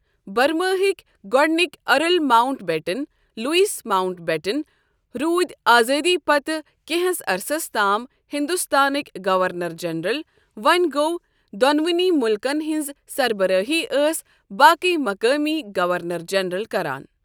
برماہٕکۍ گۅڈنِکۍ earl Mountbatten Louis Mountbatten روٗدۍ آزٲدی پتہٕ کینٛہہس عرصس تام ہندوستانکۍ گورنر جنرل وۅں گوٚو دۅنونی مُلکن ہٕنٛز سربرٲہی ٲسۍ باقےٕ مقٲمی گورنر جنرل کران۔